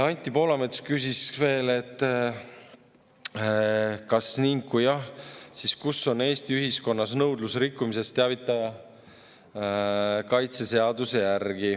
Anti Poolamets küsis veel, et kas ning kui jah, siis kus on Eesti ühiskonnas nõudlus rikkumisest teavitaja kaitse seaduse järgi.